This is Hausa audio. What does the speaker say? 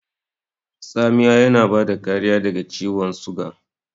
Tsamiya yana bada kariya daga ciwan suga.